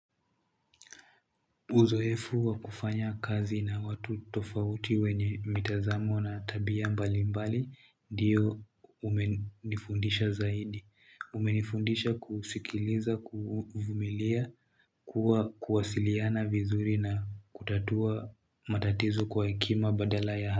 Uzoefu wa kufanya kazi na watu tofauti wenye mitazamo na tabia mbali mbali ndiyo umenifundisha zaidi. Umenifundisha kusikiliza, kuvumilia, kuwasiliana vizuri na kutatua matatizo kwa hekima badala ya.